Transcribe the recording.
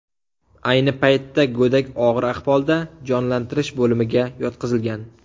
Ayni paytda go‘dak og‘ir ahvolda jonlantirish bo‘limiga yotqizilgan.